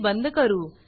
हे बंद करू